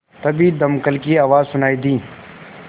तभी दमकल की आवाज़ सुनाई दी